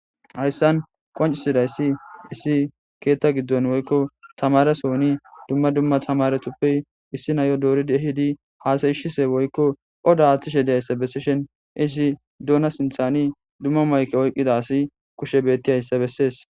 hayssan qoncisidayssi issi keetta giddon woykko tamaresooni dumma dumma tamaretuppe issi nayo dooridi ehidi haasayishise woykko oda haaththishe diyayssa bessishen isi duuna sinthani dumma mayke oyqqida asi kushe bettiyayssa bessees